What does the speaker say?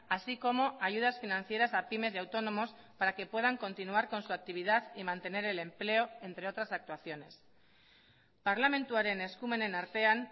así como ayudas financieras a pymes y autónomos para que puedan continuar con su actividad y mantener el empleo entre otras actuaciones parlamentuaren eskumenen artean